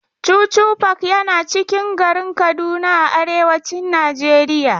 Chuchu park yana cikin garin Kaduna a arewacin Najeriya.